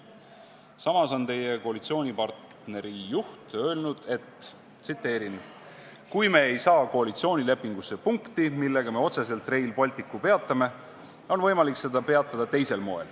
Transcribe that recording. Samas on teie koalitsioonipartneri juht öelnud, et "kui me ei saa koalitsioonilepingusse punkti, millega me otseselt Rail Balticu peatame, on võimalik seda peatada teisel moel".